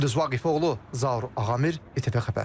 Gündüz Vaqifoğlu, Zaur Ağamir, İTV Xəbər.